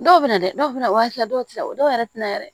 Dɔw bɛ na dɛ dɔw fɛnɛ wa hakɛya dɔw tɛ na o dɔw yɛrɛ tɛna yɛrɛ